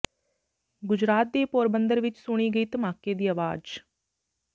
ਗੁਜਰਾਤ ਦੇ ਪੋਰਬੰਦਰ ਵਿੱਚ ਸੁਣੀ ਗਈ ਧਮਾਕੇ ਦੀ ਆਵਾਜ਼